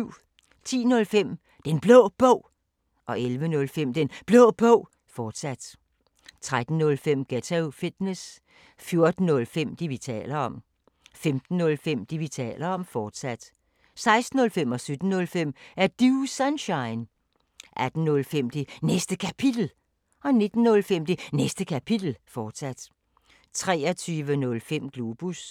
10:05: Den Blå Bog 11:05: Den Blå Bog, fortsat 13:05: Ghetto Fitness 14:05: Det, vi taler om 15:05: Det, vi taler om, fortsat 16:05: Er Du Sunshine? 17:05: Er Du Sunshine? 18:05: Det Næste Kapitel 19:05: Det Næste Kapitel, fortsat 23:05: Globus